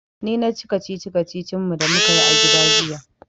Ni na ci kacici-kacicin da mu ka yi a gida jiya.